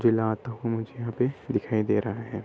मुझे यहां पे दिखाई दे रहा है।